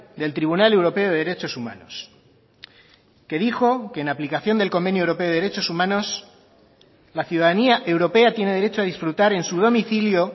del tribunal europeo de derechos humanos que dijo que en aplicación del convenio europeo de derechos humanos la ciudadanía europea tiene derecho a disfrutar en su domicilio